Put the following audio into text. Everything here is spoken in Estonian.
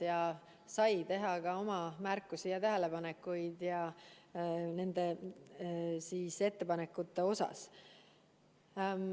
Ta sai teha märkusi ja öelda oma seisukohti nende ettepanekute osas.